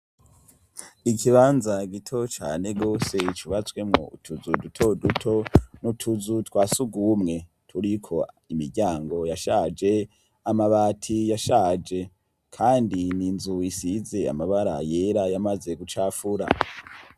Ikibanza gito cane gose cubatsemwo utuzu dutoduto nutuzu twasugumwe turiko imiryango yashaje amabati yashaje kandi ninzu isize amabara yera ayamaze gucafura